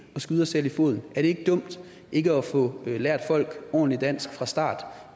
skyde os selv i foden er det ikke dumt ikke at få lært folk ordentligt dansk fra start